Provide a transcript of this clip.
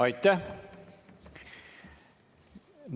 Aitäh!